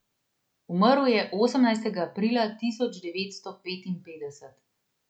Umrl je osemnajstega aprila tisoč devetsto petinpetdeset.